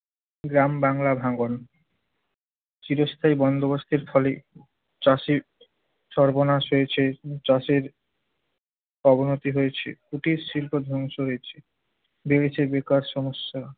গ্রাম বাংলার ভাঙন। চিরস্থায়ী বন্দোবস্তের ফলে চাষীর সর্বনাশ হয়েছে, চাষীর অবনতি হয়েছে। কুটিরশিল্প ধ্বংস হয়েছে। বেড়েছে বেকার সমস্যা।